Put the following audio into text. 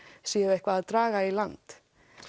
séu eitthvað að draga í land